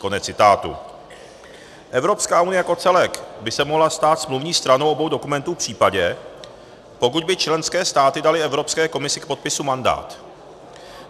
Evropská unie jako celek by se mohla stát smluvní stranou obou dokumentů v případě, pokud by členské státy daly Evropské komisi k podpisu mandát.